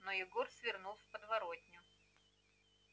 но егор свернул в подворотню